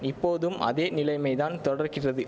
இப்போதும் அதேநிலைமைதான் தொடர்கிறது